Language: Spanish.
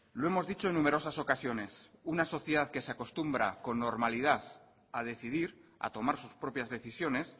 lo hemos dicho en numerosas ocasiones una sociedad que se acostumbra con normalidad a decidir a tomar sus propias decisiones